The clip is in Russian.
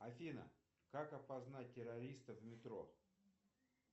афина как опознать террориста в метро